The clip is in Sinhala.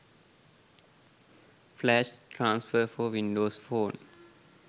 flash transfer for windows phone